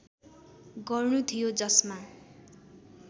गर्नु थियो जसमा